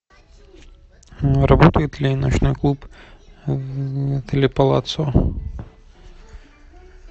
работает ли ночной клуб в отеле палаццо